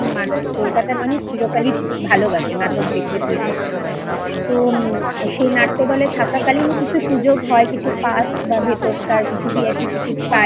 মানু কলকাতার মানুষ চিরকালই ভালোবাসে নাটক দেখতে থিয়েটার দেখতে তো উম সেই নাট্যদলে থাকাকালীন কিছু সুযোগ হয় কিছু Pass বা ভেতরকার কিছু VIP Ticket পাই